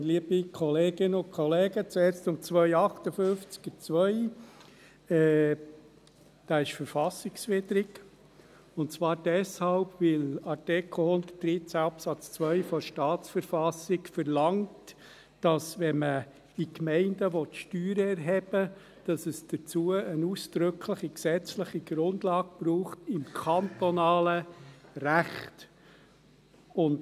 : Dieser ist verfassungswidrig, und zwar deshalb, weil Artikel 113 Absatz 2 der Staatsverfassung verlangt, dass man in den Gemeinden, welche Steuern erheben, eine ausdrückliche gesetzliche Grundlage im kantonalen Recht braucht.